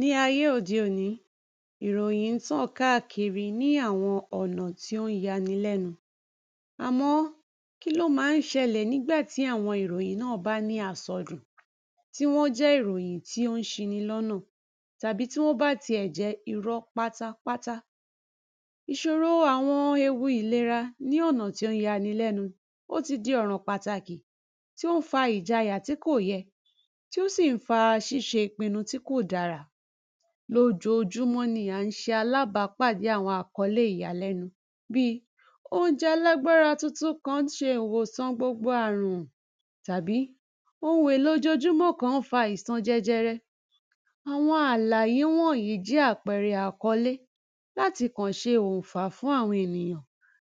Ní ayé ọ̀de-òní ìròyìn ń tàn káàkiri ní àwọn ọ̀nà tí ón ya ni lẹ́nu, àmọ́ kí ló ma ń ṣẹlẹ̀ nígbà tí àwọn ìròyìn náà bá ní àsọdùn tí wọ́n jẹ́ ìròyìn tí ón ṣini lọ́nà tàbí tí wọ́n bá ti ẹ̀ jẹ́ irọ́ pátápátá. Ìṣòro àwọn ewu ìlera ní ọ̀nà tí ón yanilẹ́nu, ó ti di pàtàkì ọ̀ràn tí ón fa ìjayà tí kò yẹ, tí ó sì ń fa ṣíṣe ìpinu tí kò dára. Lójoojúmọ́ ni à ń ṣe alábàápàdé àwọn àkọ́lé ìyàlẹ́nu bíi oúnjẹ alágbára tuntun kán ṣe ìwòsàn gbogbo àrùn tàbí ohun èlò ojoojúmọ́ kán fa àisàn jẹjẹrẹ. Àwọn àlàyé wọ̀nyí jẹ́ àpẹẹrẹ àkọ́lé láti kọ̀ ṣe oǹfà fún àwọn ènìyàn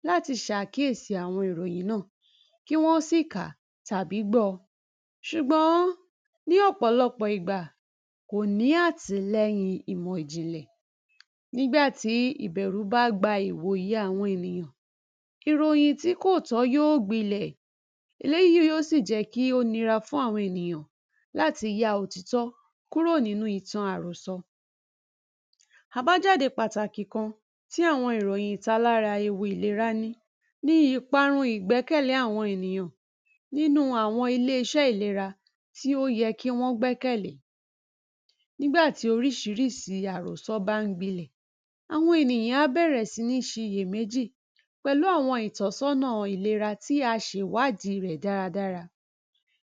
láti ṣàkíyèsí àwọn ìròyìn náà, kí wọ́n sì kà á tàbí gbọ́ ọ ṣùgbọ́n ní ọ̀pọ̀lọpọ̀ ìgbà kò ní àtìlẹyìn ìmò-ìjìnlẹ̀. Nígbà tí ìbẹ̀rù bá gba ìwòyè àwọn ènìyàn, ìròyìn tí kò tọ́ yóò gbilẹ̀ eléyíì yóó sì jẹ́ kí ó nira fún àwọn ènìyàn láti ya òtítọ́ kúrò nínúu ìtan àròsọ. Àbájáde pàtàkì kan tí àwọn ìròyìn ìtalára ewu ìlerá ní ni ìparun ìgbẹ́kẹ̀lé àwọn ènìyàn nínúu àwọn ilé-iṣẹ́ ìlera tí ó yẹ kí wọ́n gbẹ́kẹ̀lé. Nígbà tí oríṣiríṣi àròsọ bá ń gbilẹ̀, àwọn ènìyàn á bẹ̀rẹ̀ sí ní ṣiyèméjì pẹ̀lú àwọn ìtọ́sọ́nàa ìlera tí a ṣè wádìí rẹ̀ dáradára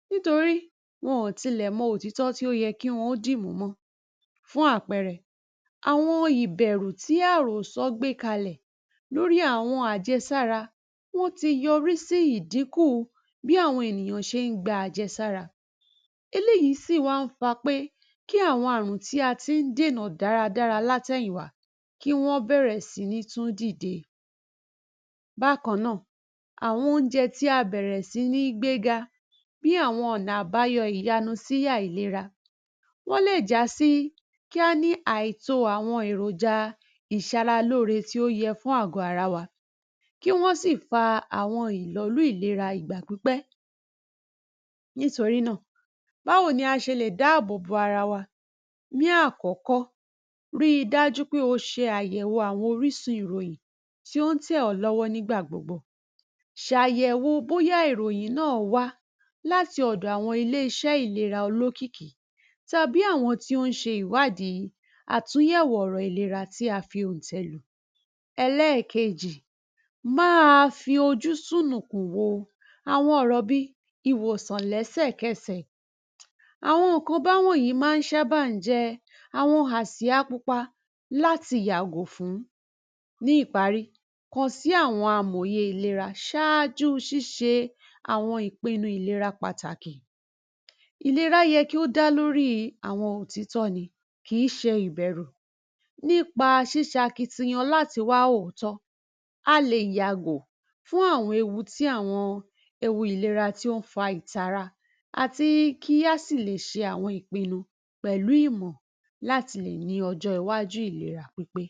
nítori wọn ó tilẹ̀ mọ òtítọ́ tí ó yẹ kí wọn ó dìmú mọ́. Fún àpẹẹrẹ, àwọn ìbẹ̀rú tí àròsọ gbé kalẹ̀ lórí àwọn àjẹsára wọn tí yọrí sí ìdíkùu bí àwọn ènìyàn ṣe ń gba àjẹsára, eléyìí sì wá ń fa pé kí àwọn àrùn tí a tín dènà dáradára látèyìn wá kí wọ́n bẹ̀rẹ̀ sí ní tún dìde. Bákan náà, àwọn oúnjẹ tí a bẹ̀rẹ̀ sí ní gbé ga ni àwọn ọ̀nà àbáyọ ìyanu si àìlera, wọ́n lè já sí kí á ní àìtóo àwọn èròjà ìṣaralóore tí ó yẹ fún àgọ́ ara wa, kí wọ́n sì fa àwọn ìlọ̀lú ìlera ìgbà pípẹ́. Nítorí náà báwo ni a ṣe lè dáàbòbo ara wa. Ní àkọ́kọ́ ríi dájú pé o ṣe àyẹ̀wo àwọn orísun ìròyìn tí ón tẹ̀ ọ́ lọ́wọ́ nígbà gbogbo, ṣàyẹ̀wo bóyá ìròyìn náà wá láti ọ̀dọ̀ àwọn ilé-iṣẹ́ ìlera olókìkí tàbí àwọn tí òn ṣè ìwádìí àtúnyẹ̀wò ọ̀rọ̀ ìlera tí a fi oǹtẹ̀ lù. Ẹlẹ́ẹ̀kejì má a fí ojú ṣùnùkùn wó àwọn ọ̀rọ̀ bíi ìwòsàn lẹ́sẹ̀kẹsẹ̀, àwọn nǹkan bá wọ̀nyí má ń sábà ń jẹ́ àwọn àṣíyá pupa láti yàgò fún. Ní ìparí kàn sí àwọn amòye ìlera ṣáájú ṣíṣe àwọn ìpinu ìlera pàtàkì. Ìlerá yẹ kí ó dá lóríi àwọn òtítọ́ ni kìí ṣe ìbeṛ̀ù nípa ṣíṣakitiyan láti wá òòtó, a lè yàgò fún àwọn ewu tí àwọn ewu ìlera tí ón fa ìtara àti kí a sì lè s̡e àwọn ìpinnu pẹ̀lú ìmọ̀ láti lè ní ọjọ́-iwájú ìlera pípé.